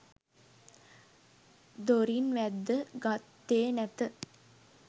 දොරින් වැද්ද ගත්තේ නැත.